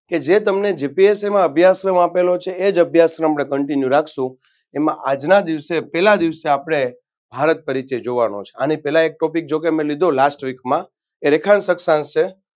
કે જે તમને GPSC જેવા અભ્યાસક્રમ આપેલો છે. એ જ અભ્યાસક્રમને continue રાખશુ એમાં આજના દિવસે પેલા દેવસે આપણે ભારત તરીકે જોવાનો છે. આની પેલા એક topic જોકે મે લીધો last week માં એ રેખાંશ અક્ષાંશ છે.